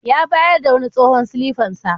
Ya bayar da wani tsohon silifan sa.